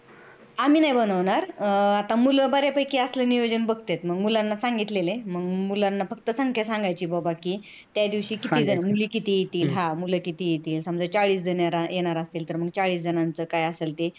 आम्ही नाही बनवणार. आता मुल बर्या असाल नियोजन बघतेत मग मुलांना सांगितलेलं आहे. मग मुलांना फक्त संख्या सांगायची बाबा कि कि मुली किती येतील मुल किती येतील समजा चाळीस जण येणार असतील तर चाळीस जनाच काय असेल ते